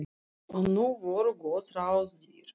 Og nú voru góð ráð dýr.